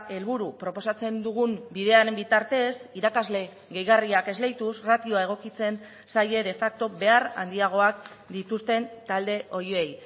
helburu proposatzen dugun bidearen bitartez irakasle gehigarriak esleituz ratioa egokitzen zaie de facto behar handiagoak dituzten talde horiei